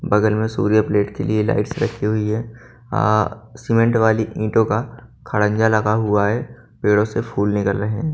बगल में सूर्य प्लेट के लिए लाइट्स रखी हुई है अ सीमेंट वाली ईंटों का खड़ंजा लगा हुआ है पेड़ों से फूल निकल रहे--